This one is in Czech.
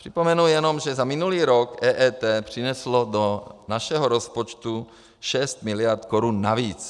Připomenu jenom, že za minulý rok EET přineslo do našeho rozpočtu 6 miliard korun navíc.